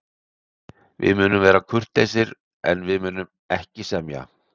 Við munum vera kurteisir, en við munum ekki semja.